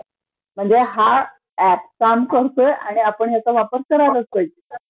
म्हणजे हा ऍप काम करतोय आणि आपण ह्याचा वापर करायलाच पाहिजे. खरं आहे ....